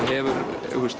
hefur